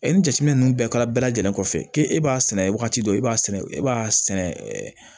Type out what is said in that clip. ni jateminɛ ninnu bɛɛ kɛra bɛɛ lajɛlen kɔfɛ k'e b'a sɛnɛ wagati dɔ e b'a sɛnɛ e b'a sɛnɛ ɛ